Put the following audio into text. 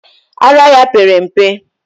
Ara ya pere mpe.